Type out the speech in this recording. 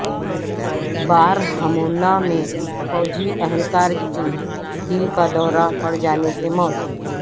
بارہمولہ میں فوجی اہلکار کی دل کا دورہ پڑ جانے سے موت